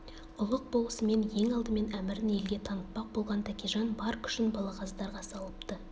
ұлық болысымен ең алдымен әмірін елге танытпақ болған тәкежан бар күшін балағаздарға салыпты